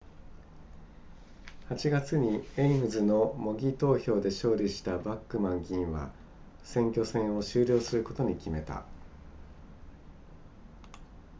8月にエイムズの模擬投票で勝利したバックマン議員は選挙戦を終了することに決めた